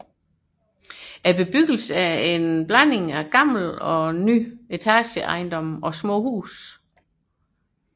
Bebyggelsen er en blanding af ældre og nyere etageejendomme og små huse